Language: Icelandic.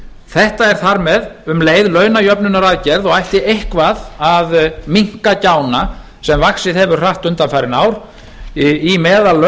þetta er þar með um leið launajöfnunaraðgerð og ætti eitthvað að minna gjána sem vaxið hefur hratt undanfarin ár í meðallaunagreiðslum